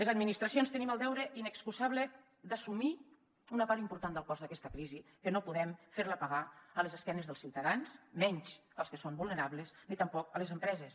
les administracions tenim el deure inexcusable d’assumir una part important del cost d’aquesta crisi que no podem fer la pagar a les esquenes dels ciutadans menys als que són vulnerables ni tampoc a les empreses